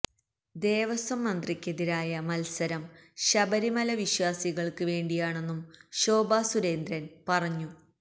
ദേവസ്വം മന്ത്രിയ്ക്കെതിരായ മത്സരം ശബരിമല വിശ്വാസികൾക്ക് വേണ്ടിയാണെന്നും ശോഭാ സുരേന്ദ്രൻ പറഞ്ഞു